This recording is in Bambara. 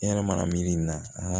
I yɛrɛ mana miiri nin na